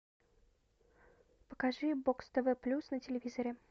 покажи бокс тв плюс на телевизоре